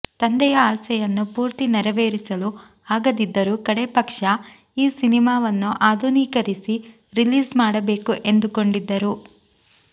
ತಂದೆಯ ಆಸೆಯನ್ನು ಪೂರ್ತಿ ನೆರವೇರಿಸಲು ಆಗದಿದ್ದರೂ ಕಡೇಪಕ್ಷ ಈ ಸಿನಿಮಾವನ್ನು ಆಧುನೀಕರಿಸಿ ರಿಲೀಸ್ ಮಾಡಬೇಕು ಎಂದುಕೊಂಡಿದ್ದರು